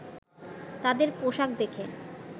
তাদের পোশাক দেখে